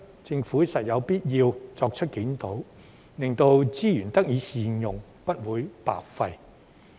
政府實有必要作出檢討，令資源得以善用，不會白費。